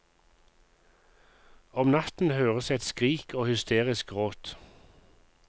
Om natten høres et skrik og hysterisk gråt.